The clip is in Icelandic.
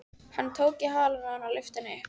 Hann tók í halann á henni og lyfti henni upp.